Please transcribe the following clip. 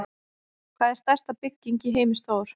Hvað er stærsta bygging í heimi stór?